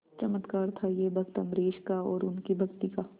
चमत्कार था यह भक्त अम्बरीश का और उनकी भक्ति का